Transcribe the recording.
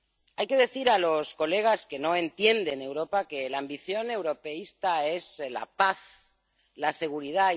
Hay que decir a los colegas que no entienden Europa que la ambición europeísta es la paz, la seguridad.